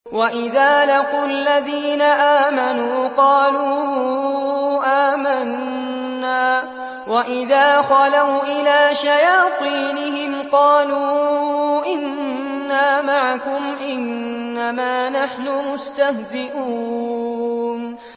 وَإِذَا لَقُوا الَّذِينَ آمَنُوا قَالُوا آمَنَّا وَإِذَا خَلَوْا إِلَىٰ شَيَاطِينِهِمْ قَالُوا إِنَّا مَعَكُمْ إِنَّمَا نَحْنُ مُسْتَهْزِئُونَ